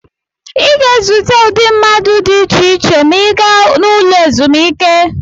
Ị ga-ezute ụdị mmadụ dị iche iche ma ị gaa n'ụlọ ezumike.